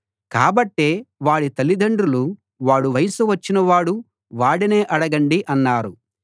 కాబట్టే వాడి తల్లిదండ్రులు వాడు వయస్సు వచ్చినవాడు వాడినే అడగండి అన్నారు